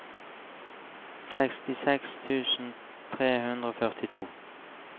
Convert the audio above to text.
sekstiseks tusen tre hundre og førtito